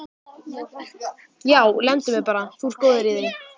Já, lemdu mig bara, þú ert góður í því!